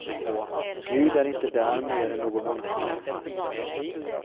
Gud är inte där mer än någon annanstans.